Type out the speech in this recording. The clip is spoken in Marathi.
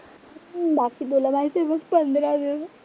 हम्म बाकी बघ पंधरा